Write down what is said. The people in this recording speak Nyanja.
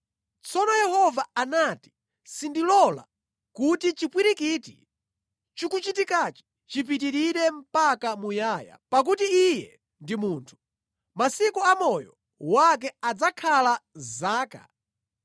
Tsono Yehova anati, “Sindilola kuti chipwirikiti chikuchitikachi chipitirire mpaka muyaya, pakuti iye ndi munthu; masiku a moyo wake adzakhala zaka 120.”